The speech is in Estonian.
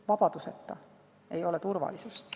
Vabaduseta ei ole turvalisust.